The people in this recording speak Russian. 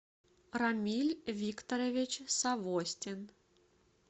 рамиль викторович савостин